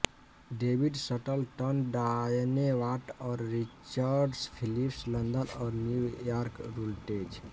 David Shuttleton Diane Watt और Richard Phillips London और New York रुल्टेज